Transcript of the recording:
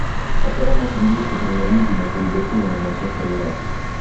повторяй матч английской премьер лиги между ливерпулем и манчестер юнайтед